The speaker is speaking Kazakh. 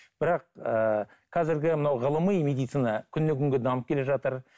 бірақ ыыы қазіргі мынау ғылыми медицина күннен күнге дамып келе жатыр